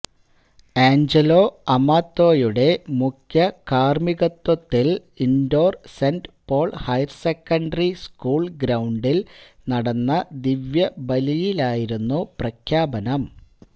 Angelo അമാത്തോയുടെ മുഖ്യകാര്മ്മികത്വത്തില് Indore Saint Paul higher secondary school ഗ്രൌണ്ടില് നടന്ന ദിവ്യബലിയിലായിരുന്നു പ്രഖ്യാപനം